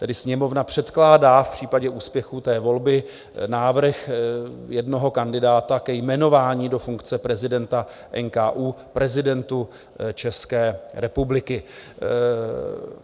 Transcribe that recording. Tedy Sněmovna předkládá v případě úspěchu té volby návrh jednoho kandidáta ke jmenování do funkce prezidenta NKÚ prezidentu České republiky.